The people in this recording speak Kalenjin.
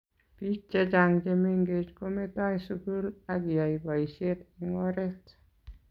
biik chechang chemengech kometoi sugul agiyai boishet eng oret